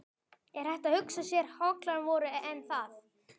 Er hægt að hugsa sér hollari vöru en það?